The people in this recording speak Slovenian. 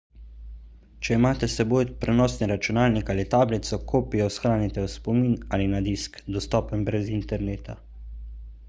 če imate s seboj prenosni računalnik ali tablico kopijo shranite v spomin ali na disk dostopen brez interneta